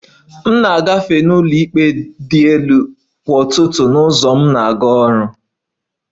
M na-agafe n'ụlọikpe dị elu kwa ụtụtụ na ụzọ m na-aga ọrụ